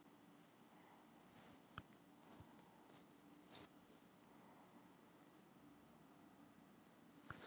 Hann buslaði um angistarfullur.